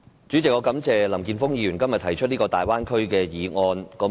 主席，我感謝林健鋒議員今天提出這項有關大灣區的議案。